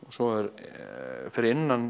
svo er fyrir innan